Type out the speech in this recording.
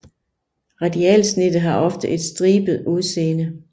Radialsnittet har ofte et stribet udseende